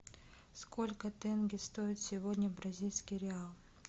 сколько тенге стоит сегодня бразильский реал